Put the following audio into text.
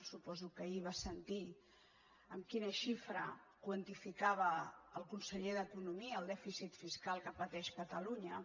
suposo que ahir va sentir amb quina xifra quantificava el conseller d’economia el dèficit fiscal que pateix catalunya